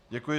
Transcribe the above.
Děkuji.